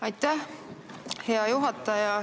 Aitäh, hea juhataja!